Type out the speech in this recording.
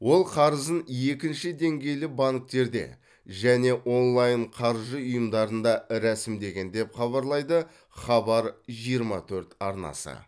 ол қарызын екінші деңгейлі банктерде және онлайн қаржы ұйымдарында рәсімдеген деп хабарлайды хабар жиырма төрт арнасы